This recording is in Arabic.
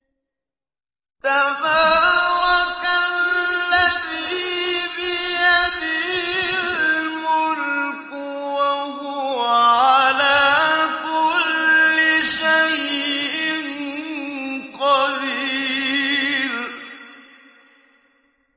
تَبَارَكَ الَّذِي بِيَدِهِ الْمُلْكُ وَهُوَ عَلَىٰ كُلِّ شَيْءٍ قَدِيرٌ